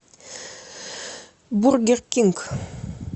бургер кинг